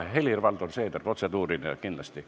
Helir-Valdor Seeder, protseduuriline küsimus, kindlasti.